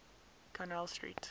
connell street